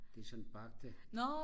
det sådan bagte